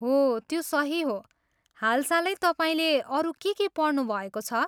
हो त्यो सही हो, हालसालै तपाईँले अरू के के पढ्नुभएको छ?